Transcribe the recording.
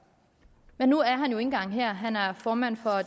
men nu er han jo ikke engang her han er formand for